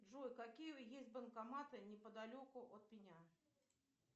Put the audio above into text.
джой какие есть банкоматы неподалеку от меня